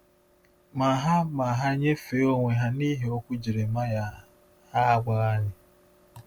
Ma ha Ma ha nyefee onwe ha n’ihi okwu Jeremaịa, a gwaghị anyị.